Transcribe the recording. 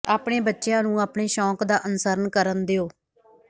ਆਪਣੇ ਬੱਚਿਆਂ ਨੂੰ ਆਪਣੇ ਸ਼ੌਕ ਦਾ ਅਨੁਸਰਣ ਕਰਨ ਦਿਓ